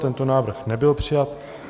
Tento návrh nebyl přijat.